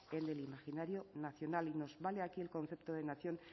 en el imaginario nacional y nos vale aquí el concepto de nación